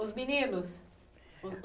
Os meninos?